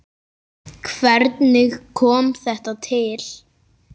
Hvernig kom þetta til?